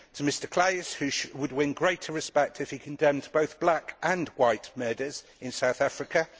to Mr Claeys, who would win greater respect if he condemned both black and white murders in South Africa